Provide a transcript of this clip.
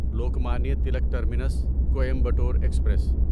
Lokmanya Tilak Terminus Coimbatore express